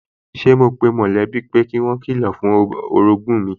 Sẹ́ mo pe mọ̀lẹ́bí pé kí wọ́n kilọ̀ fún orogún mi